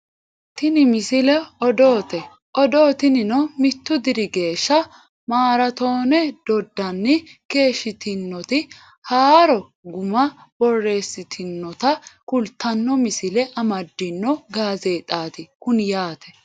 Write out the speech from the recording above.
tini misile odoote odoo tinino mittu diri geeshsha maraatooone doddanni keeshshitinoti haaro guma borreessiissinota kultanno misile amadino gazeexaati kuni yaate